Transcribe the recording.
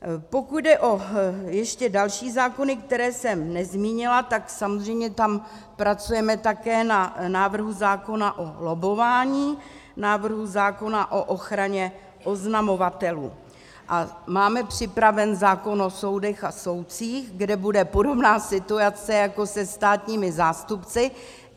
Pokud jde ještě o další zákony, které jsem nezmínila, tak samozřejmě tam pracujeme také na návrhu zákona o lobbování, návrhu zákona o ochraně oznamovatelů a máme připraven zákon o soudech a soudcích, kde bude podobná situace jako se státními zástupci.